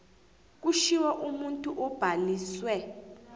kushiwo umuntu obhaliswe